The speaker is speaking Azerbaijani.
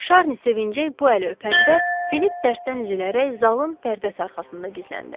Şarni sevinclə bu əli öpəndə Filip dərddən üzülərək zalın pərdəsi arxasında gizləndi.